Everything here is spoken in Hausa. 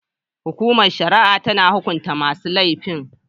Hukumar shari'a tana hukunta masu laifin.